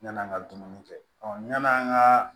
Yan'an ka dumuni kɛ yan'an ka